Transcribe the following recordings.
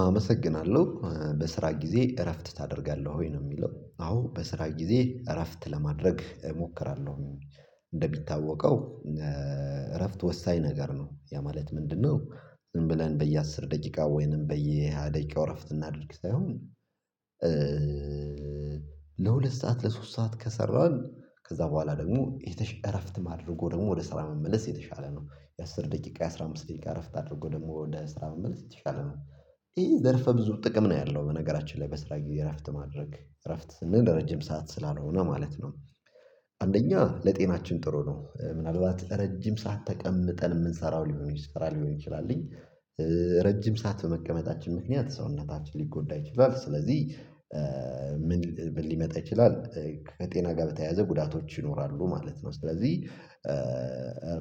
አመሰግናለሁ በስራ ጊዜ እረፍት ታደርጋለህ ወይ ነው የሚለው አዎ በስራ ጊዜ እረፍት ለማድረግ እሞክራለሁ። እንደሚታወቀው እረፍት ወሳኝ ነገር ነው ያ ማለት ምንድነው? ዝም ብለን በየአስር ደቂቃ ወይንም በየሃያ ደቂቃው እረፍት እናድርግ ሳይሆን ለሁለት ሰዓት ለሶስት ሰዓት ከሰራን ከዛ በኋላ ደግሞ የተሻለ እረፍት ማድረጎ ደግሞ ወደ ስራ መመለስ የተሻለ ነው። የአሥር ደቂቃ የአሥራ አምስት ደቂቃ እረፍት አድርጎ ደግሞ ወደ ስራ መመለስ የተሻለ ነው። ይሄ ዘርፈ ብዙ ጥቅም ነው ያለው በነገራችን ላይ በስራ የእረፍት ማድረግ እረፍት ስንል ረጅም ሰዓት ስላልሆነ ማለት ነው። አንደኛ ለጤናችን ጥሩ ነው ምናልባት ረጅም ሰዓት ተቀምጠን የምንሰራው ሊሆን ይችላል ሊሆን ይችላልኝ ረጅም ሰዓት በመቀመጣችን ምክንያት ሰውነታችን ሊጎዳ ይችላል ስለዚህ ምን ሊመጣ ይችላል ከጤና ጋር በተያያዘ ጉዳቶች ይኖራሉ ማለት ነው። ስለዚህ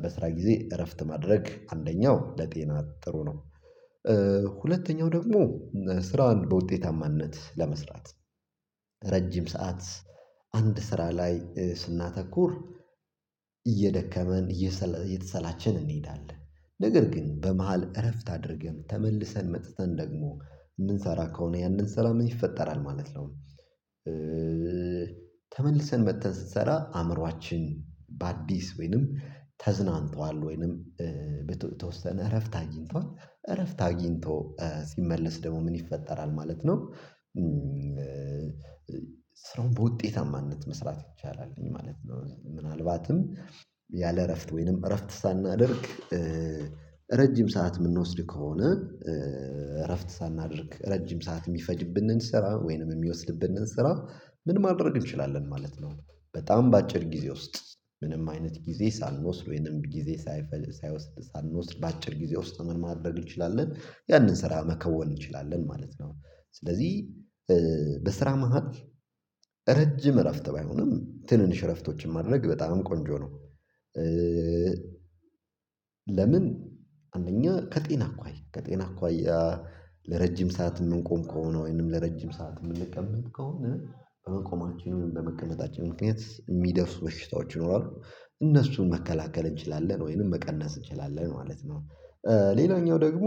በስራ ጊዜ እረፍት ማድረግ አንደኛው ለጤና ጥሩ ነው። ሁለተኛው ደግሞ ስራውን በውጤታማነት ለመስራት ረጅም ሰዓት አንድ ስራ ላይ ስናተኩር እየደከመን እየተሰላቸን እንሄዳለን ነገር ግን በመሃል እረፍት አድርገን ተመልሰን መጥተን ደግሞ የምንሰራ ከሆነ ያንን ሰላም ይፈጠራል ማለት ነው። ተመልሰን በተን ስትሰራ አእምሮአችን በአዲስ ወይንም ተዝናንቷል ወይንም በተወሰነ እረፍት አግኝቷል እረፍት አግኝቶ ሲመለስ ደግሞ ምን ይፈጠራል ማለት ነው። ስራውን በውጤታማነት መስራት ይቻላል ማለት ነው። ምናልባትም ያለ እረፍት ወይንም እረፍት ሳናደርግ ረጅም ሰዓት የምንወስድ ከሆነ እረፍት ሳናድርግ ረጅም ሰዓት የሚፈጅብንን ስራ ወይንም የሚወስድብን እንሰራ ምን ማድረግ እንችላለን ማለት ነው። በጣም በአጭር ጊዜ ውስጥ ምንም አይነት ጊዜ ሳንወስድ ወይንም ጊዜ ሳይፈልግ ሳይወስድ ሳንወስድ በአጭር ጊዜ ውስጥ ምን ማድረግ እንችላለን ያንን ስራ መከወን እንችላለን ማለት ነው። ስለዚህ በስራ መሃል ረጅም እረፍት ባይሆንም ትንንሽ እረፍቶችን ማድረግ በጣም ቆንጆ ነው። ለምን አንደኛ ከጤና አኳያ ከጤና አኳያ ለረጅም ሰዓት የምንቆም ከሆነ ወይንም ለረጅም ሰዓት የምንቀመጥ ከሆነ በመቆማችን በመቀመጣችን ምክንያት የሚደርስ በሽታዎች ይኖራሉ እነሱን መከላከል እንችላለን ወይንም መቀነስ እንችላለን ማለት ነው። ሌላኛው ደግሞ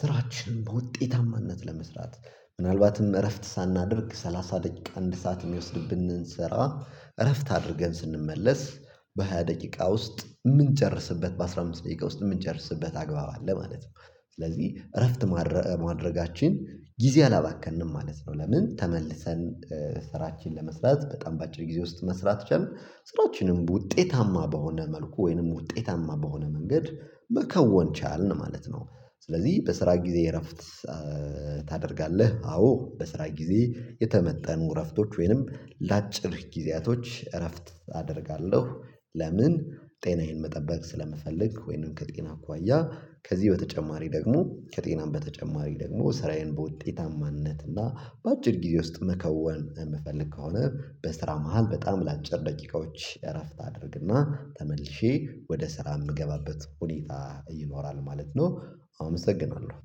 ስራችን በውጤታማነት ለመስራት ምናልባትም እረፍት ሳናደርግ ሰላሳ ደቂቃ አንድ ሰዓት የሚወስድብን እንሰራ እረፍት አድርገን ስንመለስ በሃያ ደቂቃ ውስጥ የምንጨርስበት በአስራ አምስት ደቂቃ ውስጥ የምንጨርስበት አግባብ አለ ማለት ነው። ስለዚህ እረፍት ማድረጋችን ጊዜ አላባከንንም ማለት ነው። ለምን ተመልሰን ስራችን ለመስራት በጣም በአጭር ጊዜ ውስጥ መስራት ትችላለህ ስራዎችንም በውጤታማ በሆነ መልኩ ወይንም ውጤታማ በሆነ መንገድ መከወን ቻልን ማለት ነው። ስለዚህ በስራ ጊዜ እረፍት ታደርጋለህ አዎ በስራ ጊዜ የተመጠኑ እረፍቶች ወይንም ለአጭር ጊዜያቶች እረፍት አደርጋለሁ። ለምን ጤናዬን መጠበቅ ስለምፈልግ ወይንም ከጤና አኳያ ከዚህ በተጨማሪ ደግሞ ከጤናም በተጨማሪ ደግሞ ስራዬን በውጤታማነት እና በአጭር ጊዜ ውስጥ መከወን የምፈልግ ከሆነ በስራ መሃል በጣም ለአጭር ደቂቃዎች እረፍት አድርግና ተመልሼ ወደ ስራ የምገባበት ሁኔታ ይኖራል ማለት ነው። አመሰግናለሁ